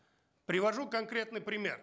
привожу конкретный пример